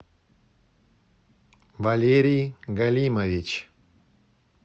валерий галимович